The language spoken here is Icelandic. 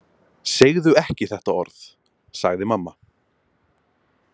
Segðu ekki þetta orð, sagði mamma.